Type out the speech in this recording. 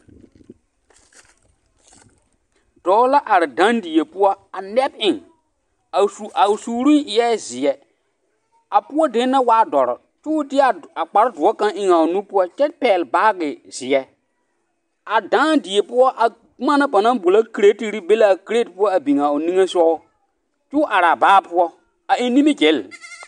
Dɔɔ la are dãã die poɔ a nɛb eŋ a su a o suuruŋ eɛ zeɛ a poɔ dene na waa dɔre k'o deɛ kpare doɔ kaŋa eŋ a o nu poɔ kyɛ pɛgele baagi zeɛ a dãã die poɔ a boma na banaŋ boɔlɔ kiretiri be l'a kireti poɔ a biŋaa o niŋesogɔ k'o araa baa poɔ a eŋ nimigilli.